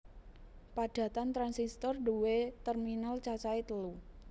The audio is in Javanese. Padatan transistor nduwé terminal cacahe telu